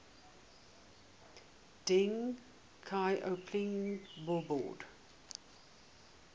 deng xiaoping billboard